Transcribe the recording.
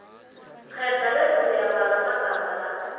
kghedla bese uyabala amagama la